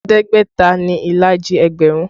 Ẹ̀ẹ́dẹ́gbẹ̀ta ni ìlàjì ẹgbẹ̀rún